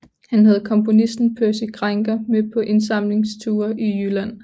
Han havde komponisten Percy Grainger med på indsamlingsture i Jylland